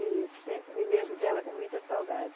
E sempre me lembro dela com muita saudade.